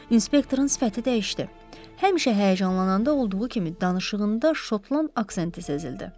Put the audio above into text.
Inspektorun sifəti dəyişdi, həmişə həyəcanlananda olduğu kimi danışığında Şotland aksenti sezildi.